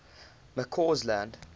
mccausland